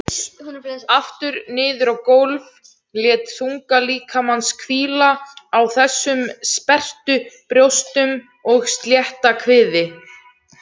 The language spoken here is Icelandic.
Aftur niður á gólf, lét þunga líkamans hvíla á þessum sperrtu brjóstum og slétta kviði.